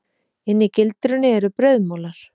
Inni í gildrunni eru brauðmolar.